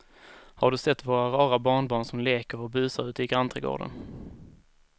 Har du sett våra rara barnbarn som leker och busar ute i grannträdgården!